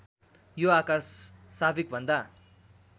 यो आकार साविकभन्दा